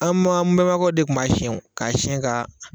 An ma an bɛnbakɛw de tun b'a siɲɛ o k'a siɲɛ ka